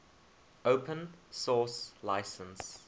open source license